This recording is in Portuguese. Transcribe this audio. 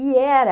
E era...